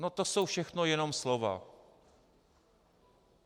No to jsou všechno jenom slova.